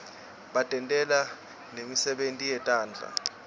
batentela nemisebenti yetandla